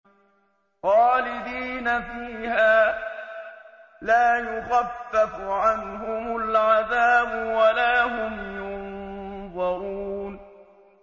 خَالِدِينَ فِيهَا ۖ لَا يُخَفَّفُ عَنْهُمُ الْعَذَابُ وَلَا هُمْ يُنظَرُونَ